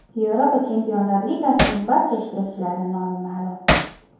Yevropa Chempionlar Ligasining barcha ishtirokchilari nomi ma’lum.